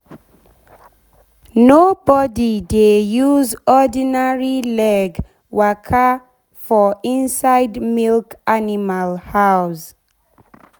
nobody dey use ordinary leg dey waka for inside milk animal house.